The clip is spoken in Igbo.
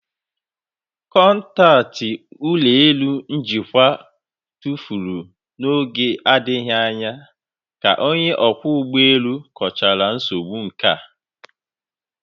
Kọntaktị ụlọ elu njikwa tụfuru n'oge na-adịghị anya ka onye ọkwọ ụgbọ elu kọchara nsogbu nka